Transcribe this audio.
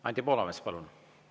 Anti Poolamets, palun!